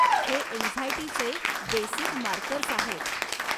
हे अँक्झाइटीचे basic markers आहेत.